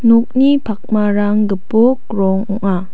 nokni pakmarang gipok rong ong·a.